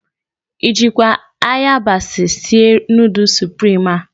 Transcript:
I jịkwa ayabasị sie nudul suprim a?